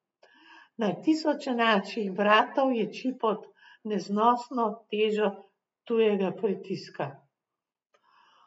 Na tisoče naših bratov ječi pod neznosno težo tujega pritiska.